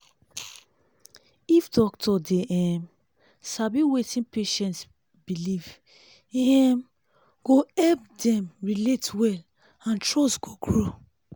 if doctor dey um sabi wetin patient believe e um go help dem relate well and trust go grow